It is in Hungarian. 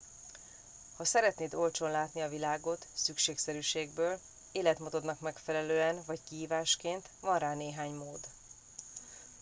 ha szeretnéd olcsón látni a világot szükségszerűségből életmódodnak megfelelően vagy kihívásként van rá néhány mód